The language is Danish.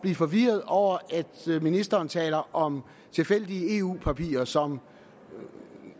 forvirret over at ministeren taler om tilfældige eu papirer som